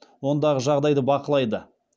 ондағы жағдайды бақылайды